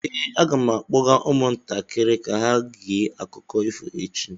Ee, aga m akpọga ụmụntakịrị ka ha gee akụkọ ifo echi.